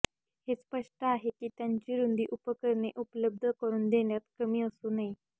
हे स्पष्ट आहे की त्याची रुंदी उपकरणे उपलब्ध करून देण्यात कमी असू नये